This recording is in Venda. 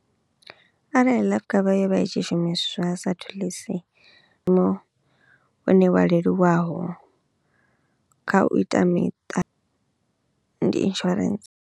Arali life cover yo vha i tshi shumiswa sa thulusi hune wa leluwaho kha u ita miṱa ndi insurance.